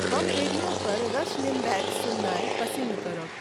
हम रेडियो पर Rush Limbaugh सुननाय पसिन्न करब।